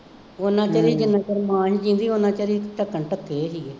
ਉਹਨਾ ਚਿਰ ਹੀ ਜਿੰਨਾ ਚਿਰ ਮਾਂ ਨਹੀਂ ਜਿਉਂਦੀ ਉੱਨਾ ਚਿਰ ਹੀ ਢੱਕਣ ਢੱਕੇ ਰਹੇ